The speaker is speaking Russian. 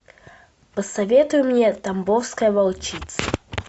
посоветуй мне тамбовская волчица